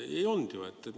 Ei olnud ju!